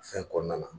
Fɛn kɔnɔna na